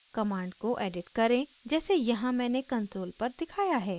command को edit करें जैसे यहाँ मैंने console पर दिखाया है